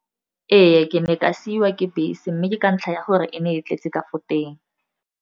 Ee, ke ne ka siwa ke bese, mme ke ka ntlha ya gore e ne e tletse ka fo teng.